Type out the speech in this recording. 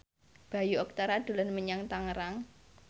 Bayu Octara dolan menyang Tangerang